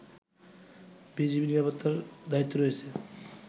BGB নিরাপত্তার দায়িত্বে রয়েছে